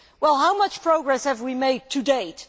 Well, how much progress have we made to date?